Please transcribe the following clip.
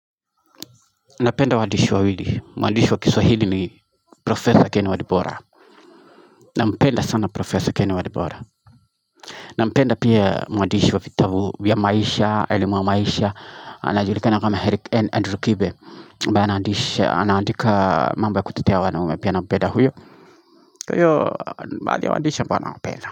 Napenda waandishi wawili. Mwadishi kiswahili ni Professor Ken Walibora. Napenda sana Professor Ken Walibora. Napenda pia mwandishi vitabu ya maisha, elimu wa maisha. Anajulikana kama Eric N. Andrew Kibe. Ambaye anaandika mambo ya kutetea wanaume pia nampenda huyo. Kwa hiyo, ni baadhi ya waandishi ambao nawapenda.